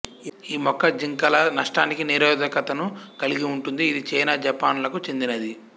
ఈ మొక్క జింకల నష్టానికి నిరోధకతను కలిగి ఉంటుంది ఇది చైనా జపాన్లకు చెందినది